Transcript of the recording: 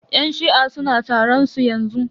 Yan shi'a suna taron su yanzu.